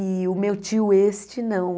E o meu tio este, não.